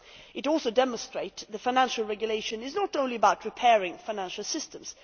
It also demonstrates that financial regulation is not only about repairing financial systems.